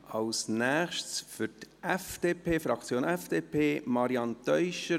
Als Nächstes für die Fraktion FDP, Marianne Teuscher-Abts.